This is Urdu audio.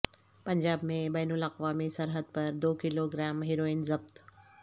پنجاب میں بین الاقوامی سرحد پر دو کلوگرام ہیروئن ضبط